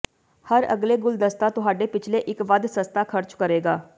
ਹਰ ਅਗਲੇ ਗੁਲਦਸਤਾ ਤੁਹਾਡੇ ਪਿਛਲੇ ਇੱਕ ਵੱਧ ਸਸਤਾ ਖ਼ਰਚ ਕਰੇਗਾ